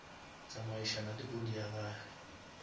tsamaišana le body ya gage